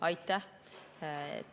Aitäh!